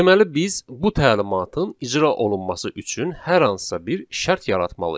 Deməli biz bu təlimatın icra olunması üçün hər hansısa bir şərt yaratmalıyıq.